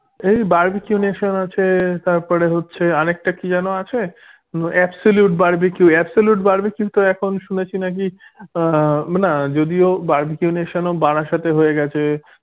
এই barbeque nation আছে তারপরে হচ্ছে আরেকটা কি যেন আছে absolute barbeque absolute barbeque কিন্তু এখন শুনেছি নাকি আহ না যদিও barbeque nation ও বারাসাতে হয়ে গেছে